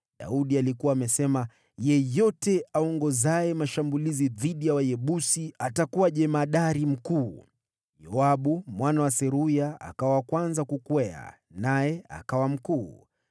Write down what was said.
Daudi alikuwa amesema, “Yeyote aongozaye mashambulizi dhidi ya Wayebusi, atakuwa jemadari mkuu.” Yoabu mwana wa Seruya akawa wa kwanza kukwea, naye akawa mkuu.